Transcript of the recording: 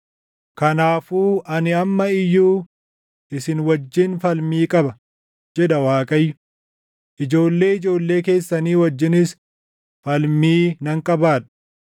“Kanaafuu ani amma iyyuu isin wajjin falmii qaba” jedha Waaqayyo. “Ijoollee ijoollee keessanii wajjinis falmii nan qabaadha.